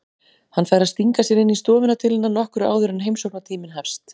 Hann fær að stinga sér inn í stofuna til hennar nokkru áður en heimsóknartíminn hefst.